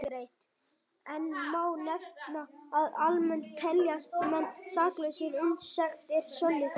Enn má nefna að almennt teljast menn saklausir uns sekt er sönnuð.